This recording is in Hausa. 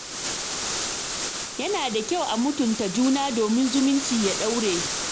Yana da kyau a mutunta juna domin zumunci ya dore.